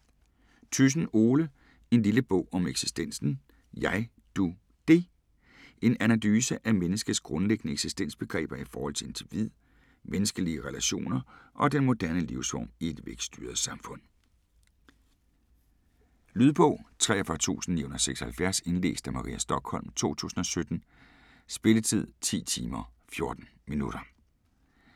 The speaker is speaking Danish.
Thyssen, Ole: En lille bog om eksistensen: Jeg Du Det En analyse af menneskets grundlæggende eksistensbegreber i forhold til individ, menneskelige relationer og den moderne livsform i et vækststyret samfund. Lydbog 43976 Indlæst af Maria Stokholm, 2017. Spilletid: 10 timer, 14 minutter.